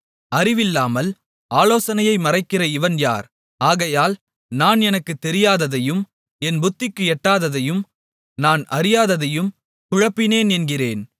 அறிவில்லாமல் ஆலோசனையை மறைக்கிற இவன் யார் ஆகையால் நான் எனக்குத் தெரியாததையும் என் புத்திக்கு எட்டாததையும் நான் அறியாததையும் குழப்பினேன் என்கிறேன்